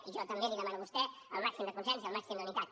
i jo també li demano a vostè el màxim de consens i el màxim d’unitat